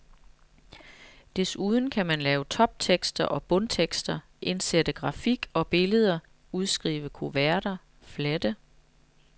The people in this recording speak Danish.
Desuden kan man lave toptekster og bundtekster, indsætte grafik og billeder, udskrive kuverter, flette.